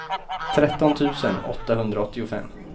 tretton tusen åttahundraåttiofem